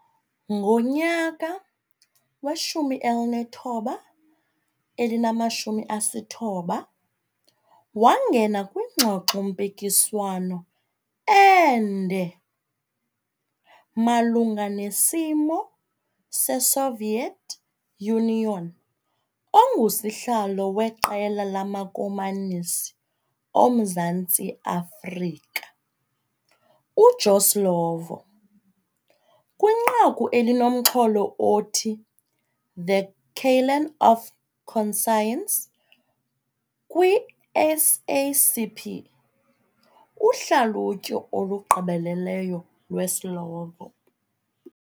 Ngo-1990 wangena kwingxoxo-mpikiswano ende malungaIsimo seSoviet Union ngusihlalo weQela lamaKomanisi oMzantsi Afrika, uJoe Slovo, kwinqaku elinomxholo othi The Callen of Conscience kwi-SACP - Uhlalutyo olugqibeleleyo lweSlovo